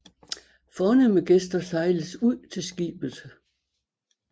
Fornemme gæster sejles ud til skibet